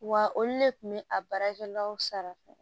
Wa olu de kun bɛ a baarakɛlaw sara